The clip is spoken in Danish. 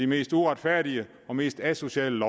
mest uretfærdige og mest asociale